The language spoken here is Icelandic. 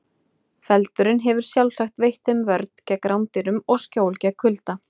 Feldurinn hefur sjálfsagt veitt þeim vörn gegn rándýrum og skjól gegn kulda.